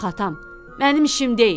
Yox atam, mənim işim deyil.